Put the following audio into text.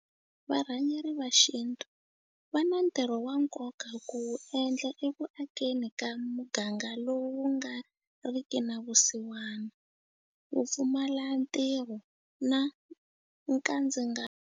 Varhangeri va xintu va na ntirho wa nkoka ku wu endla eku akeni ka muganga lowu wu nga ri ki na vusiwana, vupfumalantirho na nkandzingano.